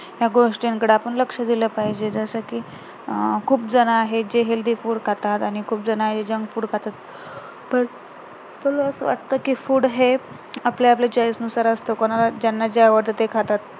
ह्या गोष्टींकडे आपण लक्ष दिल पाहिजे जसं कि अं खूप जण आहे जे healthy food खातात आणि खूप जण आहे ते junk food खातात तर मला असं वाटतं कि food हे आपल्या आपल्या choice नुसार असतं, कोणाला ज्यांना जे आवडतात ते खातात